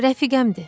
Rəfiqəmdir.